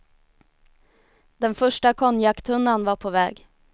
Den första konjaktunnan var på väg.